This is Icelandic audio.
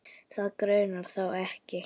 Þig grunar þó ekki?